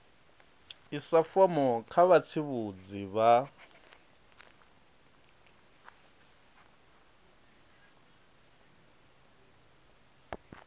isa fomo kha vhatsivhudzi vha